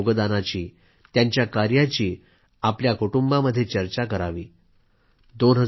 त्यांनी दिलेल्या योगदानाची त्यांच्या कार्याची आपल्या परिवारामध्ये चर्चा करावी